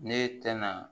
Ne tɛna